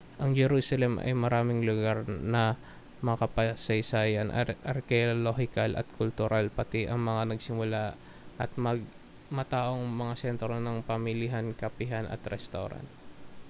ang jerusalem ay maraming lugar na makasaysayan arkeolohikal at kultural pati na ang mga masigla at mataong mga sentrong pamilihan kapihan at restawran